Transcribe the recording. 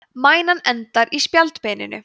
mænan endar í spjaldbeininu